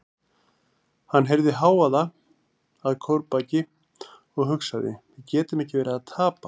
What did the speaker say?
Hann heyrði hávaða að kórbaki og hugsaði: við getum ekki verið að tapa.